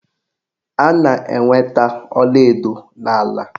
A na-enweta ọlaedo n'ala